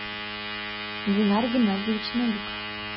динар геннадьевич новиков